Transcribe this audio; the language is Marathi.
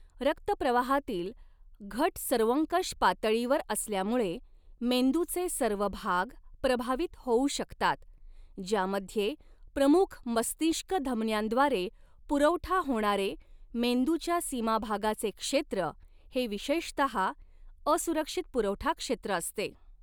रक्त प्रवाहातील घट सर्वंकष पातळीवर असल्यामुळे, मेंदूचे सर्व भाग प्रभावित होऊ शकतात, ज्यामध्ये प्रमुख मस्तिष्क धमन्यांद्वारे पुरवठा होणारे मेंदूच्या सीमाभागाचे क्षेत्र हे विशेषतहा असुरक्षित पुरवठा क्षेत्र असते.